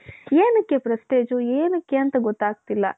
ಏನಕ್ಕೆ prestige ಏನಕ್ಕೆ ಅಂತ ಗೊತ್ತಾಗ್ತಾ ಇಲ್ಲ?